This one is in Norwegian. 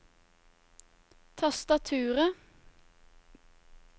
tastaturet